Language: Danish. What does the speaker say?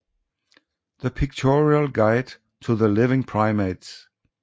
The Pictorial Guide to the Living Primates